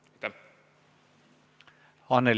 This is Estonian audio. Urmas Kruuse, palun!